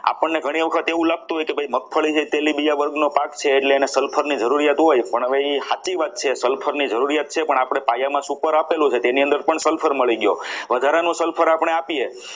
આપણને ઘણી વખત એવું લાગતું હોય કે ભાઈ મગફળી તે તેલીબીયા વર્ગનો પાક છે એટલે એને sulphur ની જરૂરિયાત હોય પણ એ હવે સાચી વાત છે sulphur ની જરૂરિયાત છે પણ આપણે પાયામાં super આપેલું છે તો એની અંદર પણ sulphur મળી ગયો વધારાનો sulphur આપણે આપીએ.